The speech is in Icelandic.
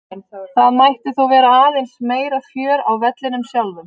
Það mætti þó vera aðeins meira fjör á vellinum sjálfum.